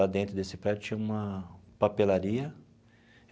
Lá dentro desse prédio tinha uma papelaria.